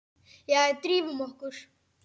Jæja, drífum okkur!